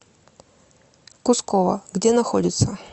кусково где находится